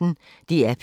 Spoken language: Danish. DR P1